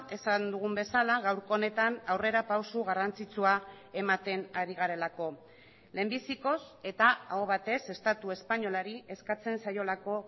esan dugun bezala gaurko honetan aurrera pauso garrantzitsua ematen ari garelako lehenbizikoz eta aho batez estatu espainolari eskatzen zaiolako